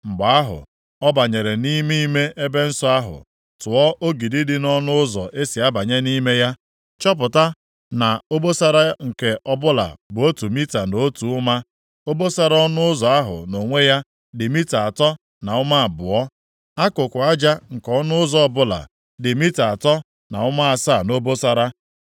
Mgbe ahụ, ọ banyere nʼime ime ebe nsọ ahụ, tụọ ogidi dị nʼọnụ ụzọ e si abanye nʼime ya, chọpụta na obosara nke ọbụla bụ otu mita na otu ụma, obosara ọnụ ụzọ ahụ nʼonwe ya dị mita atọ na ụma abụọ. Akụkụ aja nke ọnụ ụzọ ọbụla dị mita atọ na ụma asaa nʼobosara.